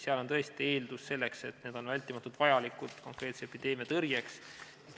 Seal on tõesti eeldus see, et need on vältimatult vajalikud konkreetse epideemia tõrjeks.